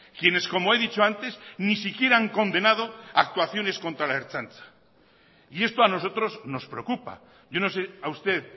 quienes como he dicho antes ni siquiera han condenado actuaciones contra la ertzaintza y esto a nosotros nos preocupa yo no sé a usted